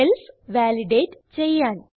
cells validate ചെയ്യാൻ